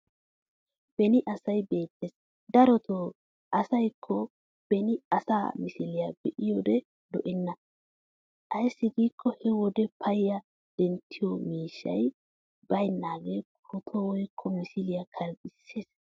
Beni asay beettes darotoo ayssakkoo beni asaa misiliya be'iyode lo'enna. Ayssi giikko he wode payya denttiyo miishshay baynnaagee pootuwa woykko misiliya karexissesi.